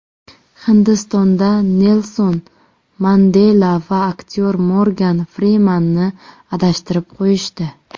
Hindistonda Nelson Mandela va aktyor Morgan Frimanni adashtirib qo‘yishdi.